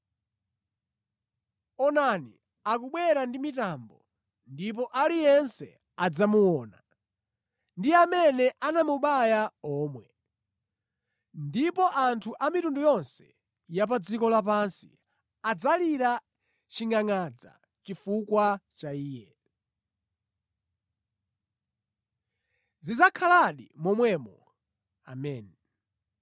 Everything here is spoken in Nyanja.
“Onani akubwera ndi mitambo,” ndipo “Aliyense adzamuona, ndi amene anamubaya omwe.” Ndipo anthu a mitundu yonse ya pa dziko lapansi “adzalira chingʼangʼadza chifukwa cha Iye.” Zidzakhaladi momwemo, Ameni.